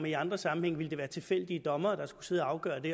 i andre sammenhænge ville være tilfældige dommere der skulle sidde og afgøre det